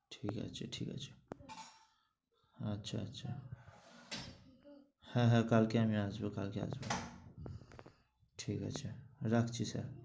ঠিক আছে ঠিক আছে। আচ্ছা আচ্ছা। হ্যাঁ হ্যাঁ কালকে আমি আসব কালকে আমি আসব। ঠিক আছে রাখছি sir